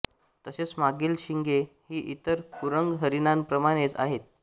तसेच मागील शिंगे ही इतर कुरंग हरीणांप्रमाणेच आहेत